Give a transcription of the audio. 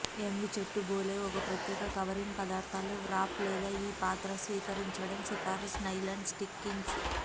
young చెట్టు బోలే ఒక ప్రత్యేక కవరింగ్ పదార్థాలు వ్రాప్ లేదా ఈ పాత స్వీకరించడం సిఫార్సు నైలాన్ స్టాకింగ్స్